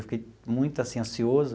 Eu fiquei muito assim ansioso.